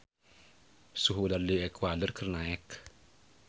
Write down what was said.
Suhu udara di Ekuador keur naek